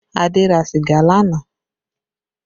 Adé ra sìgá lánàá